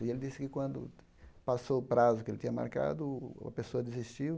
E ele disse que, quando passou o prazo que ele tinha marcado, o a pessoa desistiu.